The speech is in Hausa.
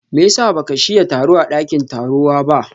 meyasa baka shiya taro a dakin tarowa ba?